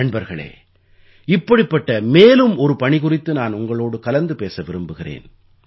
நண்பர்களே இப்படிப்பட்ட மேலும் ஒரு பணி குறித்து நான் உங்களோடு கலந்து பேச விரும்புகிறேன்